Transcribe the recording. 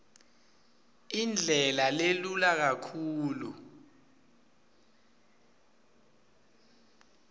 indlela lelula kakhulu